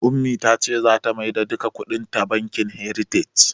Ummi ta ce zata maida duka kuɗinta bankin "heritage".